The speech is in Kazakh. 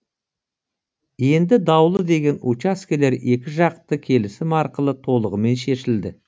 енді даулы деген учаскелер екіжақты келісім арқылы толығымен шешілді